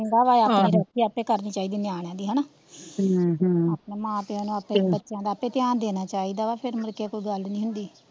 ਚੰਗਾ ਵਾਂ ਆਪਣੀ ਰੋਟੀ ਆਪੇ ਕਰਨੀ ਚਾਈਦੀ ਨਿਆਣਿਆਂ ਦੀ ਹਣਾ ਆਪਣੇ ਮਾਂ ਪਿਓ ਨੂੰ ਆਪਣੇ ਬੱਚਿਆ ਦਾ ਧਿਆਨ ਦੇਣਾ ਚਾਹੀਦਾ ਵਾਂ ਫੇਰ ਮਤਲਬ ਕੀ ਕੋਈ ਗੱਲ ਨਹੀਂ ਹੁੰਦੀ ਹੁੰਦੀ, ਆਹੋ